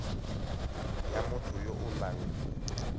ya motho yo o nang